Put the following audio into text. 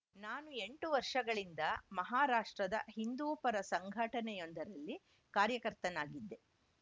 ನಾನು ಎಂಟು ವರ್ಷಗಳಿಂದ ಮಹಾರಾಷ್ಟ್ರದ ಹಿಂದೂ ಪರ ಸಂಘಟನೆಯೊಂದರಲ್ಲಿ ಕಾರ್ಯಕರ್ತನಾಗಿದ್ದೆ